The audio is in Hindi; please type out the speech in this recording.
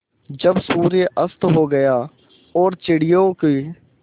जब सूर्य अस्त हो गया और चिड़ियों की